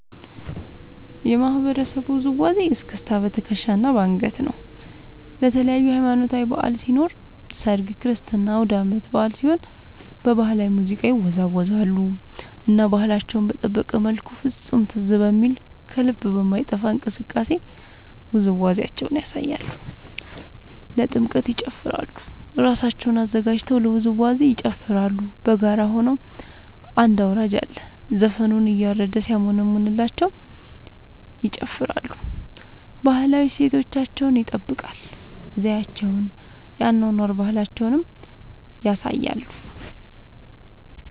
የማህበረሰቡ ውዝዋዜ እስክስታ በትከሻ እና በአንገት ነው። ለተለያዪ ሀማኖታዊ በዐል ሲኖር ሰርግ ክርስትና አውዳመት በአል ሲሆን በባህላዊ ሙዚቃ ይወዛወዛሉ እና ባህላቸውን በጠበቀ መልኩ ፍፁም ትዝ በሚል ከልብ በማይጠፍ እንቅስቃሴ ውዝዋዜያቸውን ያሳያሉ። ለጥምቀት ይጨፉራሉ እራሳቸውን አዘጋጅተው ለውዝዋዜ ይጨፋራሉ በጋራ ሆነው አንድ አውራጅ አለ ዘፈኑን እያረደ ሲያሞነምንላቸው ይጨፍራሉ። ባህላዊ እሴታቸውን ይጠብቃል ዘዪቸውን የአኗኗር ባህላቸውን ያሳያሉ።